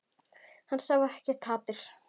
Hann sá ekkert hatur.